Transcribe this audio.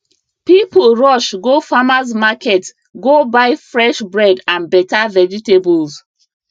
people rush go farmers market go buy fresh bread and better vegetables